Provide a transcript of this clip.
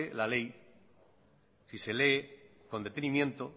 la ley si se lee con detenimiento